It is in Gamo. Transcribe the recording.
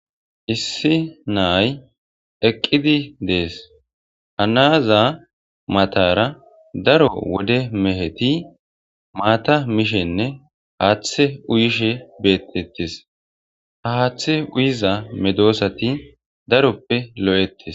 Issi naay eqqidi dees hanaaza matara daro wode meheti maata mishenne haaththe uyishe beettettis ha haaththe uyiza medoosati daroppe lo'etis.